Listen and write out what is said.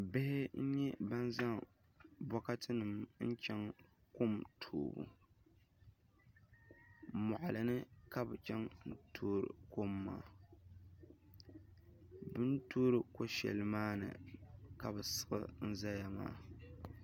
Bihi n nyɛ ban zaŋ bokati nim n chɛŋ kom toobu moɣali ni ka bi chɛŋ ni bi ti tooi kom maa bi ni toori ko shɛli maa ni ka bi siɣi n ʒɛya maa